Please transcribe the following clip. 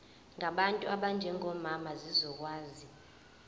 ngabantu abanjengomama zizokwazi